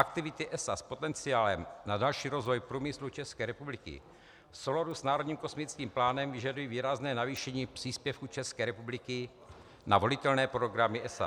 Aktivity ESA s potenciálem na další rozvoj průmyslu České republiky v souladu s národním kosmickým plánem vyžadují výrazné navýšení příspěvků České republiky na volitelné projekty ESA.